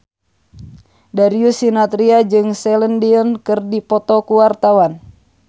Darius Sinathrya jeung Celine Dion keur dipoto ku wartawan